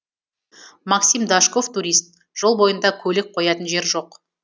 максим дашков турист жол бойында көлік қоятын жер жоқ